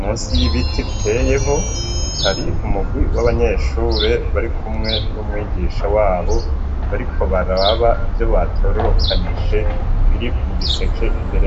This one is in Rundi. musi y'ibiti biteyeho, hari umugwi w'abanyeshure barikumwe n'umwigisha wabo, bariko baraba ivyo batororokanije, biri mu giseke imbere yabo.